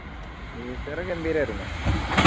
Easter ഗംഭീരയിരുന്നു